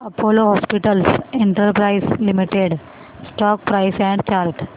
Apollo hospitals enterprise limited stock price and chart